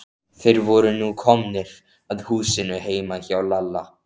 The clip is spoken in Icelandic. Þeir voru nú komnir að húsinu heima hjá Lalla.